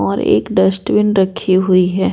और एक डस्टबिन रखी हुई है।